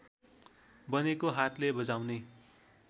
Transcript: बनेको हातले बजाउने